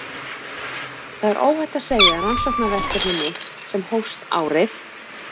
Það er óhætt að segja að rannsóknarverkefni mitt sem hófst árið